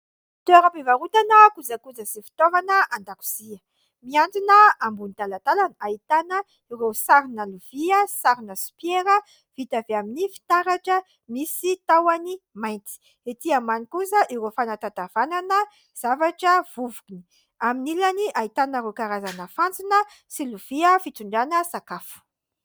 Toeram-pivarotana kojakoja sy fitaovana an-dakozia mihantona ambonin'ny talantalana. Ahitana ireo sarina lovia sarina sopiera vita avy amin'ny fitaratra, misy tahony mainty. Etỳ ambany kosa ireo fanatatavanana zavatra vovony, aminy ilany ahitana ireo karazana fantsona sy lovia fitondrana sakafo.